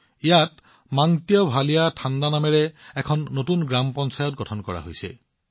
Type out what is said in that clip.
ইয়াত মাংট্যভালিয়া থাণ্ডা নামৰ এখন নতুন গ্ৰাম পঞ্চায়ত গঠন কৰা হৈছে